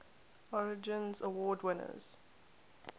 origins award winners